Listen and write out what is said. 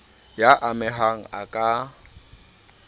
y a mehang a ka